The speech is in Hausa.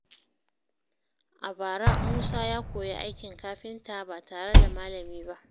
A bara, Musa ya koyi aikin kafinta ba tare da malami ba.